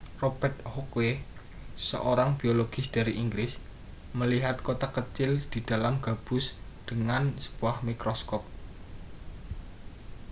robert hooke seorang biologis dari inggris melihat kotak kecil di dalam gabus dengan sebuah mikroskop